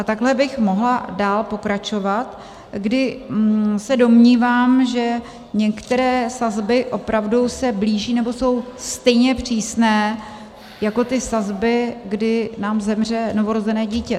A takhle bych mohla dál pokračovat, kdy se domnívám, že některé sazby opravdu se blíží, nebo jsou stejně přísné jako ty sazby, kdy nám zemře novorozené dítě.